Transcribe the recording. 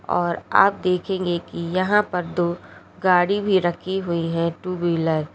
और आप देखेंगे कि यहां पर दो गाड़ी भी रखी हुई है टू व्हीलर ।